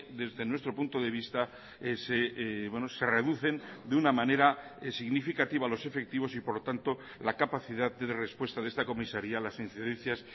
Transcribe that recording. desde nuestro punto de vista se reducen de una manera significativa los efectivos y por lo tanto la capacidad de respuesta de esta comisaría a las incidencias